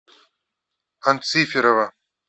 анциферова